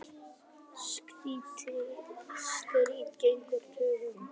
Slíkt stríði gegn tollalögum